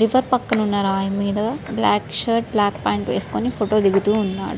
River పక్కన ఉన్న రాయిమీద బ్లాక్ షర్టు బ్లాక్ ప్యాంటు వేసోకొని ఫోటోదిగుతున్నాడు.